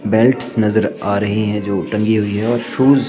belts नजर आ रही है जो टंगी हुई है और शूज --